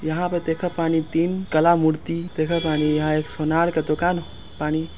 यहाँ पे देखत बानी तीन कला मूर्ति देखत बानी यहाँ एक सोनार के दूकान बानी।